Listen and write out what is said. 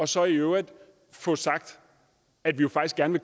så i øvrigt får sagt at man faktisk gerne